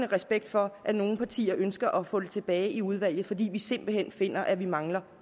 respekt for at nogle partier ønsker at få den tilbage i udvalget fordi vi simpelt hen finder at vi mangler